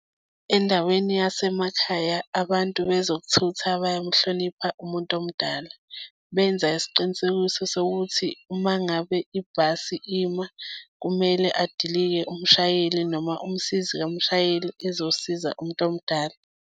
Endaweni yasemakhaya, abantu bezokuthutha bayamuhlonipha umuntu omdala. Benza isiqinisekiso sokuthi uma ngabe ibhasi ima kumele adilike umshayeli noma umsizi kamshayeli ezosiza umuntu omdala.